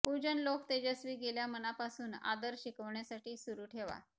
पूजन लोक तेजस्वी गेल्या मनापासून आदर शिकवण्यासाठी सुरू ठेवा